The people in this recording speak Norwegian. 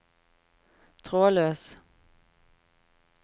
trådløs